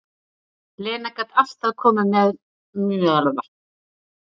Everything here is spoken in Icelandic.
Lena gat alltaf komið mér til að hlæja, segir Júlía.